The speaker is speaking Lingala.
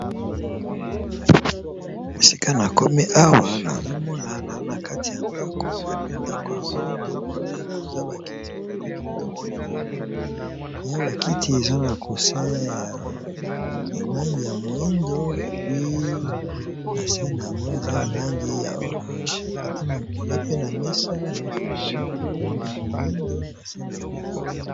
Mosika na komi awa nazomona na na kati ya ndako epe ndako yango na moni koza ba kiti moko ya kitoko vrema eya ba kiti eza na coussin ya langi ya moyindo epi na se na yango eza n'a langi ya orange eza pe na mesa mesa ngo pe ya moyindo na se na ngo eza orange.